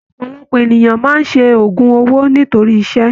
Ọpọlọpọ ènìyàn máa n se ogún owó nítorí ìṣẹ́.